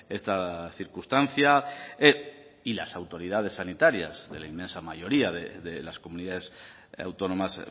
esta circunstancia y las autoridades sanitarias de la inmensa mayoría de las comunidades autónomas